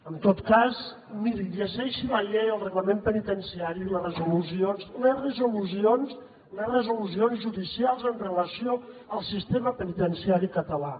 en tot cas miri llegeixi la llei i el reglament penitenciari i les resolucions les resolucions judicials amb relació al sistema penitenciari català